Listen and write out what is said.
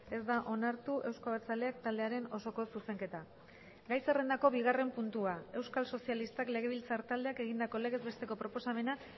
ez da onartu euzko abertzaleak taldearen osoko zuzenketa gai zerrendako bigarren puntua euskal sozialistak legebiltzar taldeak egindako legez besteko proposamena